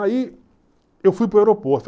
Aí eu fui para o aeroporto.